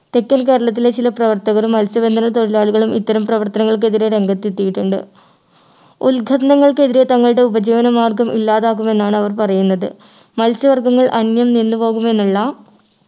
തെക്കൻ കേരളത്തിലെ ചില പ്രവർത്തകരും മത്സ്യബന്ധന തൊഴിലാളികളും ഇത്തരം പ്രവർത്തനങ്ങൾക്കെതിരെ രംഗത്തെത്തിയിട്ടുണ്ട് ഉൾഖനനങ്ങൾക്കെതിരെ തങ്ങളുടെ ഉപജീവനമാർഗം ഇല്ലാതാക്കും എന്നാണ് അവർ പറയുന്നത് മത്സ്യവർഗ്ഗങ്ങൾ അന്യം നിന്നുപോകും എന്നുള്ള